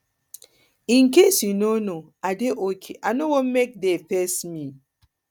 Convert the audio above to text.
in case you no know i dey okay i no wan make de face me